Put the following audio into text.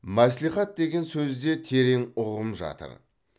мәслихат деген сөзде терең ұғым жатыр